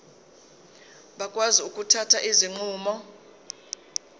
bakwazi ukuthatha izinqumo